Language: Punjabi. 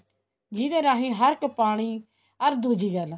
ਜਿਹਦੇ ਰਾਹੀ ਹਰ ਇੱਕ ਪਾਣੀ ਅਰ ਦੂਜੀ ਗੱਲ